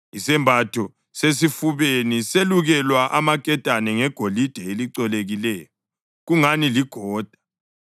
Isembatho sesifubeni selukelwa amaketane ngegolide elicolekileyo kungani ligoda.